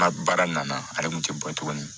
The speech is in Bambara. N ka baara nana ale kun tɛ bɔ tuguni